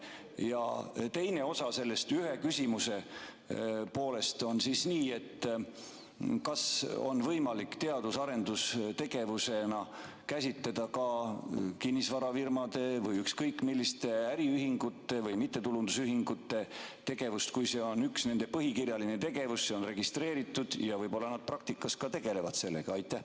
Ja teine osa sellest ühest küsimusest: kas on võimalik teadus- ja arendustegevusena käsitleda ka kinnisvarafirmade või ükskõik milliste äriühingute või mittetulundusühingute tegevust, kui see on üks nende põhikirjaline tegevus, see on registreeritud ja võib-olla nad praktikas ka tegelevad sellega?